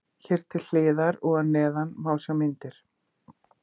Hér til hliðar og að neðan má sjá myndir.